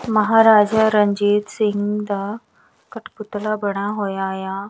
ਮਹਾਰਾਜਾ ਰਣਜੀਤ ਸਿੰਘ ਦਾ ਕਠਪੁਤਲਾ ਬਣਿਆ ਹੋਇਆ ਆ।